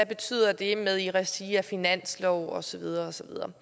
betyder at det er i regi af finanslov og så videre og så videre